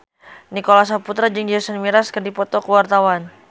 Nicholas Saputra jeung Jason Mraz keur dipoto ku wartawan